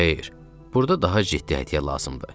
Xeyr, burda daha ciddi hədiyyə lazımdır.